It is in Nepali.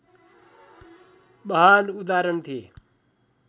महान् उदाहरण थिए